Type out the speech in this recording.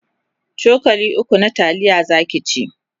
cokali ukwu na taliya Zaki ci